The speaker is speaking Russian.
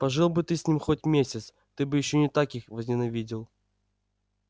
пожил бы ты с ними хоть месяц ты бы ещё не так их возненавидел